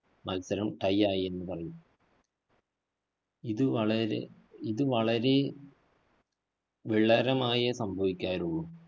മത്സരം tie ആയെന്ന് പറയും. ഇത് വളരെ ഇത് വളരേ വിളരമായെ സംഭവിക്കാറുള്ളൂ.